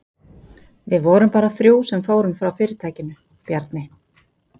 Við vorum bara þrjú sem fórum frá fyrirtækinu, Bjarni